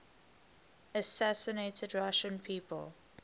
assassinated russian people